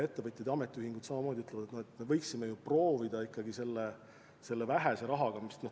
Ettevõtjad ja ametiühingud samamoodi ütlevad, et me võiksime ju proovida ikkagi ka selle vähese rahaga midagi ära teha.